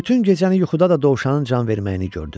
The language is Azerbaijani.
Bütün gecəni yuxuda da dovşanın can verməyini gördü.